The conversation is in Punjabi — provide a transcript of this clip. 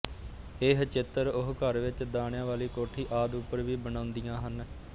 ਇਹ ਚਿੱਤਰ ਉਹ ਘਰ ਵਿੱਚ ਦਾਣਿਆਂ ਵਾਲੀ ਕੋਠੀ ਆਦਿ ਉੱਪਰ ਵੀ ਬਣਾਉਂਦੀਆ ਹਨ